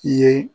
I ye